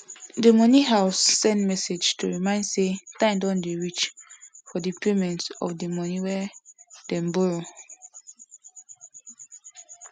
the money house send message to remind say time don dey reach for the payment of money wey dem borrow